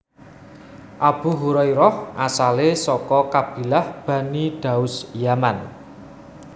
Abu Hurairah asalé saka kabilah Bani Daus Yaman